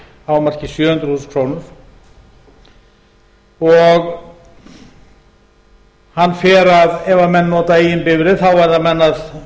hámarki sjö hundruð þúsund krónur hann fer ef menn nota eigin bifreið þá verða menn að